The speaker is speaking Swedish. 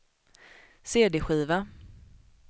cd-skiva